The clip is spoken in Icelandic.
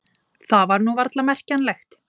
Það var nú varla merkjanlegt.